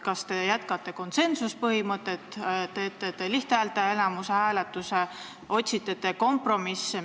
Kas te jätkate konsensuspõhimõttel, kasutate te hääletusel lihthäälteenamust või otsite te kompromisse?